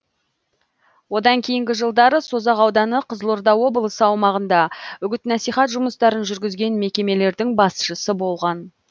одан кейінгі жылдары созақ ауданы қызылорда облысы аумағында үгіт насихат жұмыстарын жүргізген мекемелердің басшысы болған